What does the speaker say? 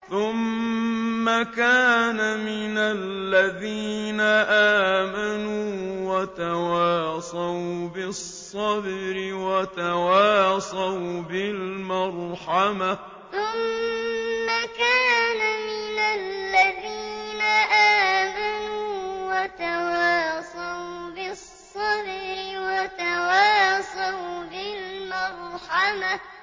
ثُمَّ كَانَ مِنَ الَّذِينَ آمَنُوا وَتَوَاصَوْا بِالصَّبْرِ وَتَوَاصَوْا بِالْمَرْحَمَةِ ثُمَّ كَانَ مِنَ الَّذِينَ آمَنُوا وَتَوَاصَوْا بِالصَّبْرِ وَتَوَاصَوْا بِالْمَرْحَمَةِ